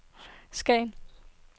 Skagen